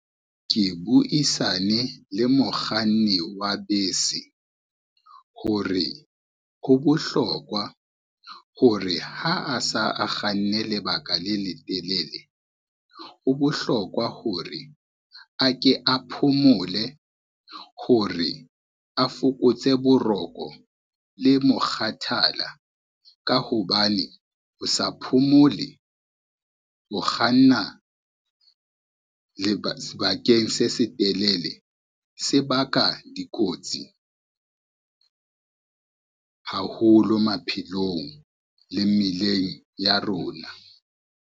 Ke buisane le mokganni wa bese, hore ho bohlokwa hore ha a sa a kganne lebaka le letelele, ho bohlokwa hore a ke a phomole hore a fokotse boroko le mokgathala ka hobane, ho sa phomole ho kganna sebakeng se setelele, se baka dikotsi haholo maphelong le mmileng ya rona.